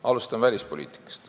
Alustan välispoliitikast.